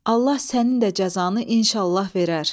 Allah sənin də cəzanı inşallah verər.